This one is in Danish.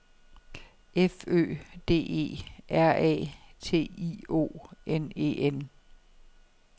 F Ø D E R A T I O N E N